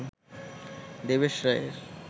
দেবেশ রায়ের